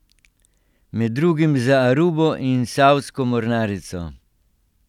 Med drugim za Arubo in saudsko mornarico.